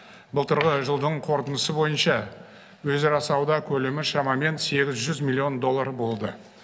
былтырғы жылдың қорытындысы бойынша өзара сауда көлемі шамамен сегіз жүз миллион доллар болды